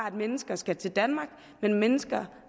at mennesker skal til danmark men at mennesker